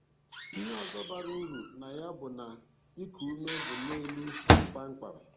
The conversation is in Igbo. Ihe ọzọ bara uru na ya bụ na iku ume bụ n'elu kpamkpam.